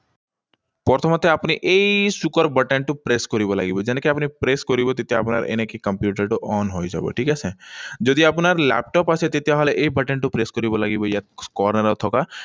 প্ৰথমতে আপুনি এই চুকৰ button টো press কৰিব লাগিব। যেনেকৈ আপুনি press কৰিব, তেতিয়া আপোনাৰ এনেকৈ কম্পিউটাৰটো on হৈ যাব, ঠিক আছে? যদি আপোনাৰ লেপটপ আছে, তেতিয়াহলে এই button টো press কৰিব লাগিব ইয়াত এডাল থকা।